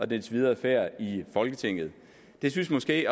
dens videre færd i folketinget det synes måske